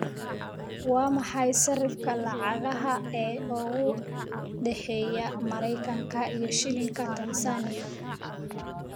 Waa maxay sarifka lacagaha ee u dhexeeya Maraykanka iyo Shilinka Tansaaniya?